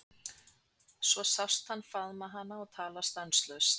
Svo sást hann faðma hana og tala stanslaust.